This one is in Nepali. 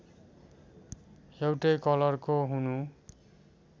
एउटै कलरको हुनु